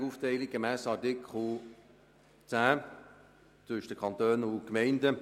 Ich gehe davon aus, dass Sie als Grosser Rat dem Grossen Rat und nicht mir als Regierungsrat folgen werden.